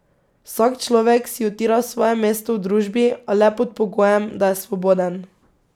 Vsak človek si utira svoje mesto v družbi, a le pod pogojem, da je svoboden.